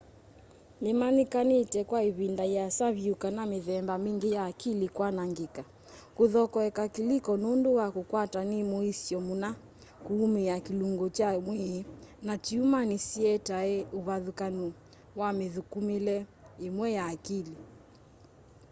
nĩmanyĩkanĩte kwa ĩvĩnda yĩasa vyũ kana mĩthemba mingĩ ya akili kwanangĩka kũthokoeka kĩlĩko nũndũ wa kũkwatwa nĩ mũisyo mũna kũũmĩa kĩlũngũ kya mwĩĩ na tyũma nĩsietae ũvathũkanũ wa mĩthũkũmĩle ĩmwe ya akili